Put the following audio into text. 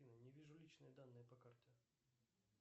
не вижу личные данные по карте